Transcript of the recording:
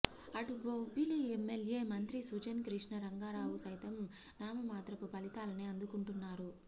అటు బొబ్బిలి ఎమ్మెల్యే మంత్రి సుజయ్ కృష్ణ రంగరావు సైతం నామమాత్రపు ఫలితాలనే అందుకుంటున్నారు